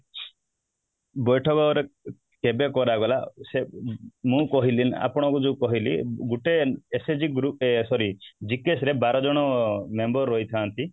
ବୈଠକ ରେ କେବେ କରାଗଲା ଆଉ ସେ ମୁଁ କହିଲି ନା ଆପଣଙ୍କୁ ଯୋଉ କହିଲି ଗୋଟେ SAG group sorry GKS ବାର ଜଣ member ରହିଥାନ୍ତି